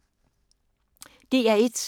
DR1